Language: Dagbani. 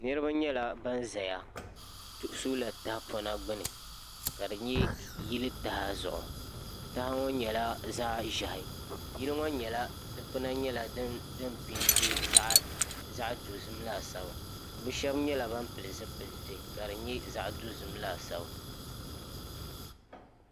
Niriba nyɛla ban zaya sola tahapona gbini ka di nyɛ yili taha zuɣu taha ŋɔ nyɛla zaɣa ʒehi yili ŋɔ dikpina ŋɔ nyɛla din piɛnti zaɣa dozim laasabu bɛ sheba nyɛla ban pili zipilti ka di nyɛ zaɣa dozim laasabu.